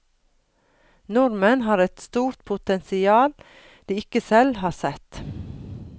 Nordmenn har et stort potensial de ikke selv har sett.